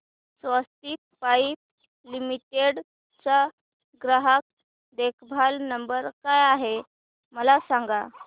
स्वस्तिक pipe limited चा ग्राहक देखभाल नंबर काय आहे मला सांगा